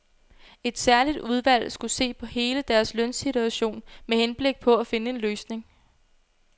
Et særligt udvalg skulle se på hele deres lønsituation med henblik på at finde en løsning.